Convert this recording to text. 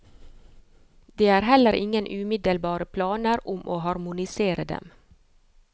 Det er heller ingen umiddelbare planer om å harmonisere dem.